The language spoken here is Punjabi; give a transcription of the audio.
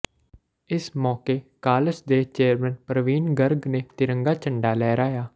ਇਸ ਮੌਕੇ ਕਾਲਜ ਦੇ ਚੇਅਰਮੈਨ ਪ੍ਰਵੀਨ ਗਰਗ ਨੇ ਤਿਰੰਗਾ ਝੰਡਾਂ ਲਹਿਰਾਇਆ